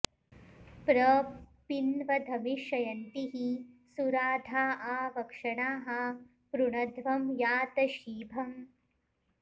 प्र पि॑न्वध्वमि॒षय॑न्तीः सु॒राधा॒ आ व॒क्षणाः॑ पृ॒णध्वं॑ या॒त शीभ॑म्